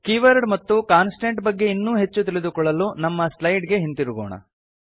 keyword ಮತ್ತು constant ಬಗ್ಗೆ ಇನ್ನೂ ಹೆಚ್ಚು ತಿಳಿದುಕೊಳ್ಳಲು ನಮ್ಮ ಸ್ಲೈಡ್ ಗೆ ಹಿಂದಿರುಗೋಣ